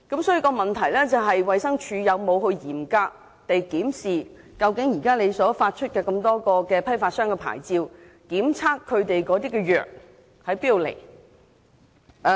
就此，衞生署究竟有否嚴格檢視現已發出的批發商牌照，檢查它們的中藥究竟從何而來？